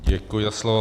Děkuji za slovo.